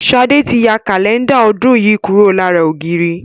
Sade tí ya Kálẹ́ndà ọdún yìí kúrò lára ògiri